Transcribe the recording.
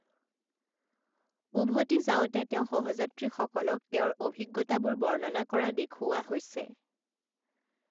উভতি যাওঁতে তেওঁ সহযাত্ৰীসকলক তেওঁৰ অভিজ্ঞতাবোৰ বৰ্ণনা কৰা দেখুওৱা হৈছে।